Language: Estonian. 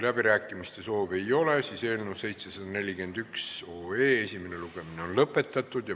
Läbirääkimiste soovi ei ole ja eelnõu 741 esimene lugemine on lõpetatud.